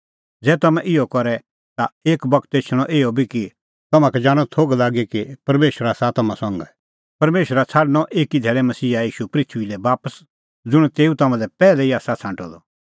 ज़ै तम्हैं इहअ करे ता एक बगत एछणअ इहअ बी कि तम्हां का जाणअ थोघ लागी कि परमेशर आसा तम्हां संघै परमेशरा छ़ाडणअ एकी धैल़ै मसीहा ईशू पृथूई लै बापस ज़ुंण तेऊ तम्हां लै पैहलै ई आसा छ़ांटअ द